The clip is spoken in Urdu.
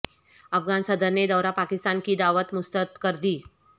افغان صدر نے دورہ پاکستان کی دعوت مسترد کردی